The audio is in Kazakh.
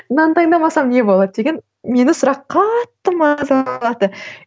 мынаны таңдамасам не болады деген мені сұрақ қатты мазалады